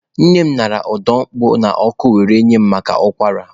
Nne m ñara ọda opuo n'ọkụ were nye mụ maka ụkwara.